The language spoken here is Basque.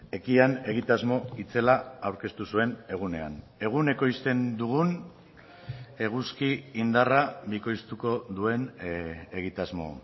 ekian egitasmo itzela aurkeztu zuen egunean egun ekoizten dugun eguzki indarra bikoiztuko duen egitasmo